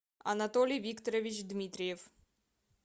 анатолий викторович дмитриев